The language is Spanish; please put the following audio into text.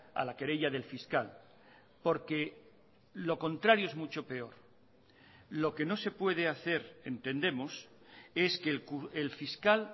a la querella del fiscal porque lo contrario es mucho peor lo que no se puede hacer entendemos es que el fiscal